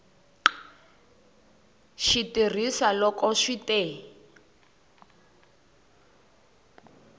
xi tirhisa loko swi te